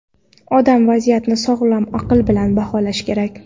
Odam vaziyatni sog‘lom aql bilan baholashi kerak.